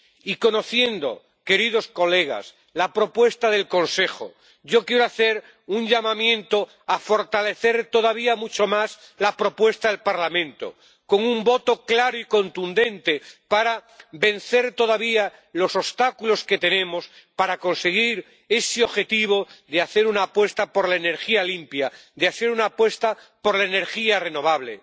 Y conociendo, señorías, la propuesta del Consejo, yo quiero hacer un llamamiento para fortalecer todavía mucho más la propuesta del Parlamento con un voto claro y contundente para vencer los obstáculos que tenemos todavía para conseguir ese objetivo de hacer una apuesta por la energía limpia, de hacer una apuesta por la energía renovable.